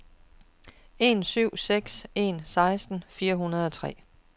en syv seks en seksten fire hundrede og tre